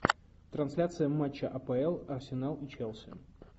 трансляция матча апл арсенал и челси